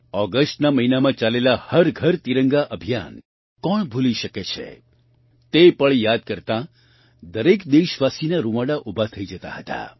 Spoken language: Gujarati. ઑગસ્ટના મહિનમાં ચાલેલા હર ઘર તિરંગા અભિયાન કોણ ભૂલી શકે છે તે પળ યાદ કરતાં દરેક દેશવાસીના રૂંવાડા ઊભા થઈ જતા હતા